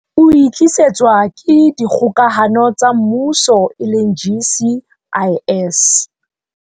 O e tlisetswa ke Dikgokahano tsa Mmuso, GCIS.